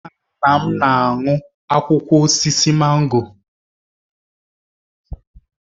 Nna nna m na-aṅụ akwụkwọ osisi mango